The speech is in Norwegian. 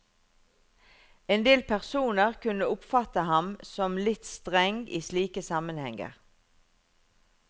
Endel personer kunne oppfatte ham som litt streng i slike sammenhenger.